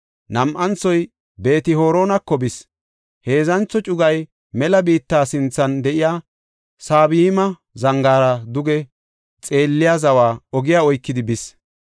Nam7anthoy Beet-Horonako bis; heedzantho cugay mela biitta sinthan de7iya Saboyma zangaara duge xeelliya zawa ogiya oykidi bis.